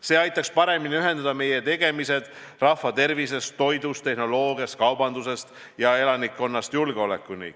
See aitaks paremini ühendada meie tegemised rahva tervise hoidmisest, toidust, tehnoloogiast, kaubandusest ja elukeskkonnast julgeolekuni.